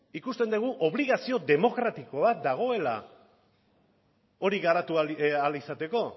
ikusten dugu obligazio demokratikoa bat dagoela hori garatu ahal izateko